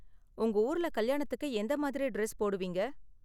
உங்க ஊர்ல கல்யாணத்துக்கு எந்த மாதிரி டிரஸ் போடுவீங்க?